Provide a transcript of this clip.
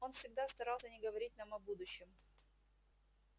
он всегда старался не говорить нам о будущем